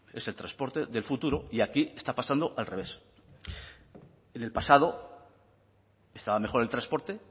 es el transporte del futuro y aquí está pasando al revés en el pasado estaba mejor el transporte